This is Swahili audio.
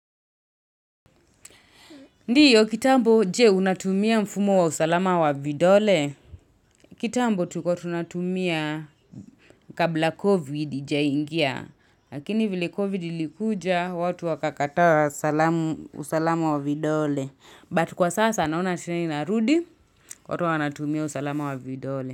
Ndiyo kitambo jee unatumia mfumo wa usalama wa vidole. Kitambo tuko tunatumia kabla covid haijaingia. Lakini vile covid likuja watu wakakataa salam usalam wa vidole. Batu kwa sasa noana trend inarudi watu wanatumia usalama wa vidole.